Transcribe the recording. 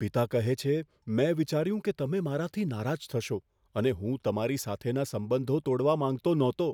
પિતા કહે છે, મેં વિચાર્યું કે તમે મારાથી નારાજ થશો અને હું તમારી સાથેના સંબંધો તોડવા માંગતો ન હતો.